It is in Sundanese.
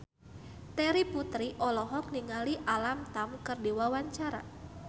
Terry Putri olohok ningali Alam Tam keur diwawancara